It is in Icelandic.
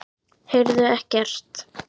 Heyrðuð ekkert?